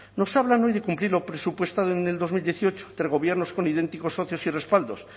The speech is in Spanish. nos hablan hoy de cumplir lo presupuestado en el dos mil dieciocho tres gobiernos con idénticos socios y respaldos